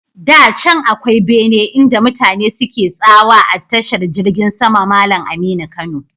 Da can akwai bene inda mutane suke tsawa a tashar jirgin sama Malam Aminu Kano.